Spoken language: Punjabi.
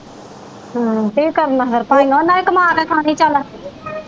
ਕੀ ਕਰਨਾ ਫਿਰ ਭਾਈ ਉਹਨਾਂ ਵੀ ਕਮਾ ਕੇ ਖਾਣੀ ਚਲ।